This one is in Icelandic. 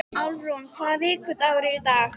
Álfrún, hvaða vikudagur er í dag?